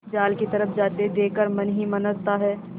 जाल की तरफ जाते देख कर मन ही मन हँसता है